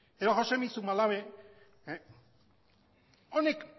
edo joxemi zumalabe honek